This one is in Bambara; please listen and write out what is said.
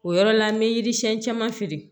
O yɔrɔ la n bɛ yiri siɲɛ caman feere